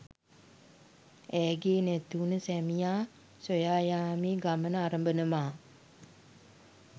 ඇගේ නැතිවුණ සැමියා සොයා යාමේ ගමන අරඹනවා